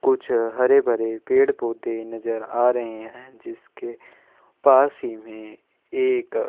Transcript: कुछ हरे भरे पेड़ - पौधे नज़र आ रहे है जिसके पास ही में एक --